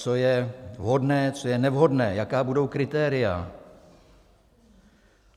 Co je vhodné, co je nevhodné, jaká budou kritéria.